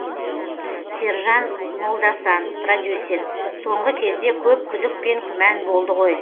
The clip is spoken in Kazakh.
сержан молдасан продюсер соңғы кезде көп күдік пен күмән болды ғой